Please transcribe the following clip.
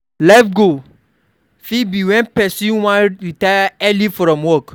Life goal fit be when person wan retire early from work